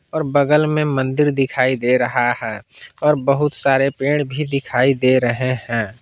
और बगल में मंदिर दिखाई दे रहा है और बहुत सारे पेड़ भी दिखाई दे रहे हैं।